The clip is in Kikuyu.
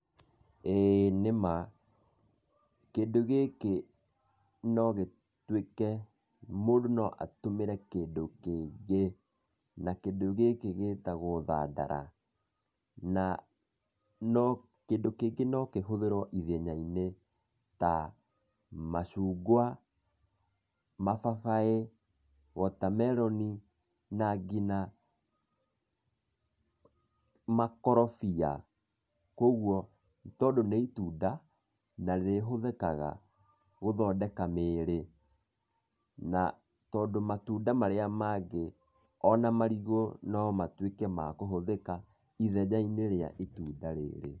Ĩĩ nĩma, kĩndũ gĩkĩ no gĩtuĩke, mũndũ no atũmĩre kĩndũ kĩngĩ, na kĩndũ gĩkĩ gĩtagwo thandara, na kĩndũ kĩngĩ no kĩhũthirwo ithenya-inĩ, tamacũngwa, mababaĩ, water-melon, na nginya, makorobia, koguo tondũ nĩ itunda, na rĩhũthĩka gũthondeka mĩĩrĩ na tondũ matunda marĩa mangĩ, ona marigũ nomatuĩke makũhũthĩka, ithenya-inĩ rĩa itunda rĩrĩ.